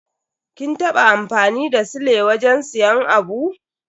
Kin taba amfani da sile wajen siyan abu?